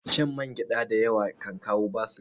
Shan mangyada da yawa kan kawo basir